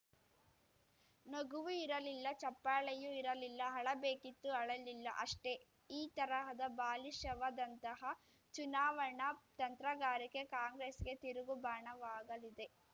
ನಗುವೂ ಇರಲಿಲ್ಲ ಚಪ್ಪಾಳೆಯೂ ಇರಲಿಲ್ಲ ಅಳಬೇಕಿತ್ತು ಅಳಲಿಲ್ಲ ಅಷ್ಟೇ ಈ ತರಹದ ಬಾಲಿಶವಾದಂತಹ ಚುನಾವಣಾ ತಂತ್ರಗಾರಿಕೆ ಕಾಂಗ್ರೆಸ್‌ಗೆ ತಿರುಗುಬಾಣವಾಗಲಿದೆ